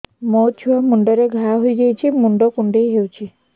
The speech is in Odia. ମୋ ଛୁଆ ମୁଣ୍ଡରେ ଘାଆ ହୋଇଯାଇଛି ମୁଣ୍ଡ କୁଣ୍ଡେଇ ହେଉଛି